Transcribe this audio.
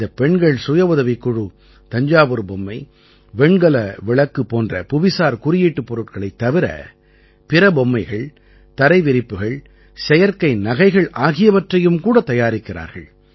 இந்தப் பெண்கள் சுயஉதவிக் குழு தஞ்சாவூர் பொம்மை வெண்கல விளக்கு போன்ற புவிசார் குறியீட்டுப் பொருட்களைத் தவிர பிற பொம்மைகள் தரை விரிப்புகள் செயற்கை நகைகள் ஆகியவற்றையும் கூட தயாரிக்கிறார்கள்